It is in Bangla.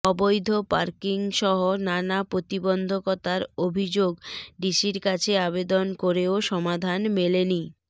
অবৈধ পার্কিংসহ নানা প্রতিবন্ধকতার অভিযোগডিসির কাছে আবেদন করেও সমাধান মেলেনি